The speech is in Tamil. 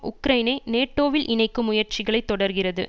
உக்ரைனை நேட்டோவில் இணைக்கும் முயற்சிகளைத் தொடர்கிறது